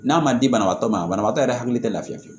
N'a ma di banabagatɔ ma banabagatɔ yɛrɛ hakili tɛ lafili